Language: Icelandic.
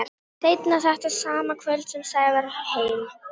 Seinna þetta sama kvöld kom Sævar heim.